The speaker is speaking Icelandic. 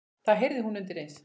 Það heyrði hún undir eins.